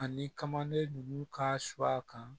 Ani kamana ninnu ka su a kan